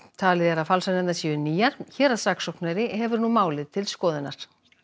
talið er að falsanirnar séu nýjar héraðssaksóknari hefur málið til skoðunar